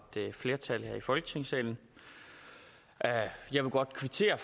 flertal i folketinget jeg vil godt kvittere